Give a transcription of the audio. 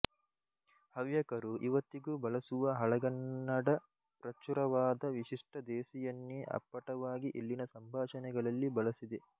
ಹವ್ಯಕರು ಇವತ್ತಿಗೂ ಬಳಸುವ ಹಳಗನ್ನಡಪ್ರಚುರವಾದ ವಿಶಿಷ್ಟದೇಸಿಯನ್ನೇ ಅಪ್ಪಟವಾಗಿ ಇಲ್ಲಿನ ಸಂಭಾಷಣೆಗಳಲ್ಲಿ ಬಳಸಿದೆ